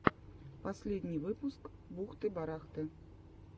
последний выпуск бухты барахты